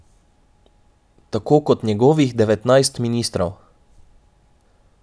Tako kot njegovih devetnajst ministrov.